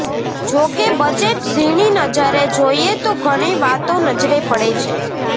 જો કે બજેટ ઝીણી નજરે જોઈએ તો ઘણી વાતો નજરે પડે છે